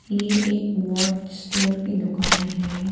ये एक watch store की दुकान है।